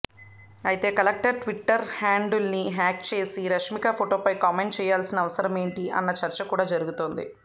అయితే collector twitter హ్యాండిల్ను hack చేసి రష్మిక ఫోటోపై కామెంట్ చేయాల్సిన అవసరమేంటి అన్న చర్చ కూడా జరుగుతోంది